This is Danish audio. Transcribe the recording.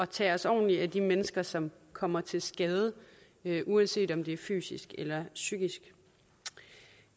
tage os ordentligt af de mennesker som kommer til skade uanset om det er fysisk eller psykisk